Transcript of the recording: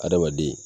Adamaden